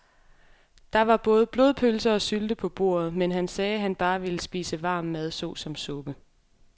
Der var både blodpølse og sylte på bordet, men han sagde, at han bare ville spise varm mad såsom suppe.